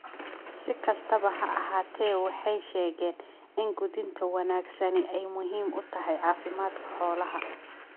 Si kastaba ha ahaatee, waxay sheegeen in quudinta wanaagsani ay muhiim u tahay caafimaadka xoolaha.